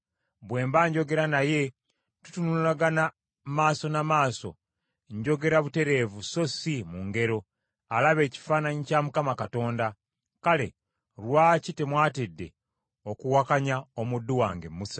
Bwe mba njogera naye tutunulagana maaso na maaso, njogera butereevu so si mu ngero; alaba ekifaananyi kya Mukama Katonda. Kale, lwaki temwatidde okuwakanya omuddu wange Musa?”